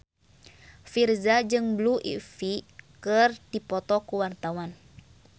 Virzha jeung Blue Ivy keur dipoto ku wartawan